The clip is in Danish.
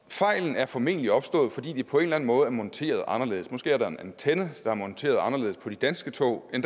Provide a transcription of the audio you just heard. fejlen er formentlig opstået fordi det på en måde er monteret anderledes måske er der en antenne der er monteret anderledes på de danske tog end